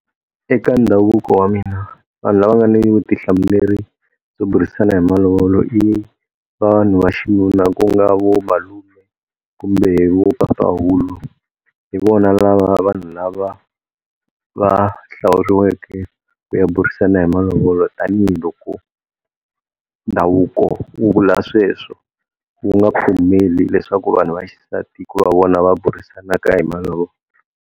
Eka ndhavuko wa mina vanhu lava nga ni vutihlamuleri byo burisana hi malovolo i vanhu va xinuna ku nga vomalume kumbe vo papahulu hi vona lava vanhu lava va hlawuriweke ku ya burisana hi malovolo tani hi loko ndhavuko wu vula sweswo wu nga pfumeli leswaku vanhu va xisati ku va vona va burisanaka hi malovolo.